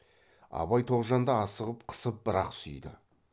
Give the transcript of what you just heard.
абай тоғжанды асығып қысып бір ақ сүйді